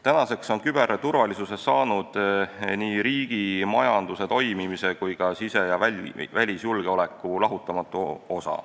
Tänaseks on küberturvalisusest saanud nii riigi majanduse toimimise kui ka sise- ja välisjulgeoleku lahutamatu osa.